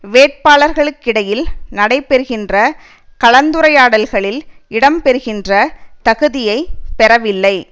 வேட்பாளர்களுக்கிடையில் நடைபெறுகின்ற கலந்துரையாடல்களில் இடம்பெறுகின்ற தகுதியை பெறவில்லை